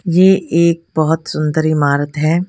ये एक बहोत सुंदर इमारत है।